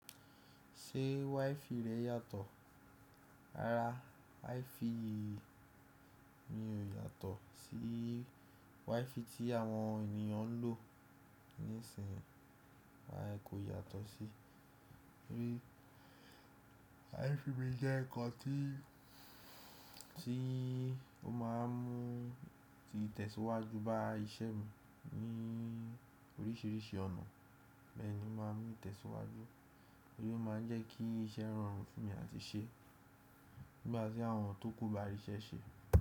Ṣé WiFi rẹ yàtọ̀? Rárá, WiFi mi ò yàtọ̀ sí WiFi tí àwọn ènìyàn ń lò nísin. A ẹ kò yàtọ̀ sí i. Níbí WiFi mi jẹ́ nǹkan tí, tí ó máa ń mú ìtẹ̀síwájú bá iṣẹ́ mi ní oríṣìíríṣìí ọ̀nà. Bẹ́ẹ̀ ni ó máa ń mú ìtẹ̀síwájú, torí ó máa ń jẹ́ kí iṣẹ́ rọrùn fún mi láti ṣe nigba ti àwọn tókù bá ríṣẹ́ ṣe.